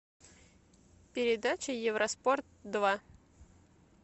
передача евро спорт два